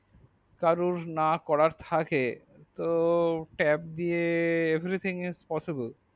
তো কারোর না করার থাকে তো tab দিয়ে everything is possible